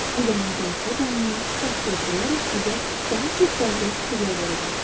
Bu zaman cazibə qanunu qarşılıq olaraq sizə daha çox bənzər fikirlər verəcəkdir.